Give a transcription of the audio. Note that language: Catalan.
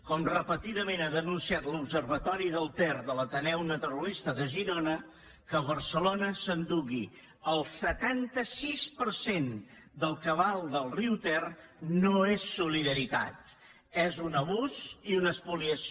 com repetidament ha denunciat l’observatori del ter de l’ateneu naturalista de girona que barcelona s’endugui el setanta sis per cent del cabal del riu ter no és solidaritat és un abús i una espoliació